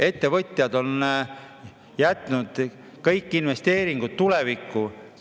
Ettevõtjad on jätnud kõik investeeringud tulevikku.